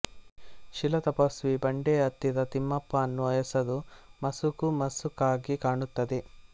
ಶಿಲಾತಪಸ್ವಿ ಬಂಡೆಯ ಹತ್ತಿರ ತಿಮ್ಮಪ್ಪ ಅನ್ನುವ ಹೆಸರು ಮಸುಕು ಮಸುಕಾಗಿ ಕಾಣುತ್ತದೆ